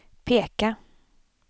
peka